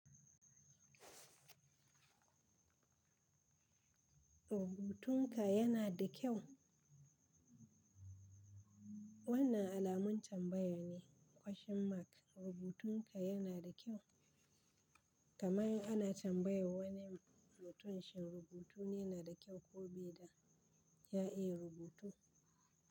Rubutun ka yana da kyau? Wannan alamun tambaya ne, question mark. Rubutun ka yana da kyau? Kamar ana tambaya wani mutum shi rubutu ne na da kyau ko beda, ya iya rubutu.